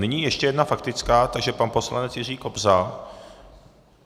Nyní ještě jedna faktická, takže pan poslanec Jiří Kobza.